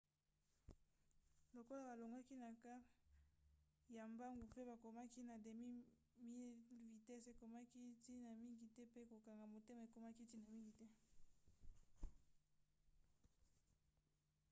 lokola balongwaki na quart ya mbangu mpe bakomaki na demi-mile vitese ekomaki ntina mingi te mpe kokanga motema ekomaki ntina mingi